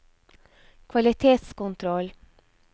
kvalitetskontroll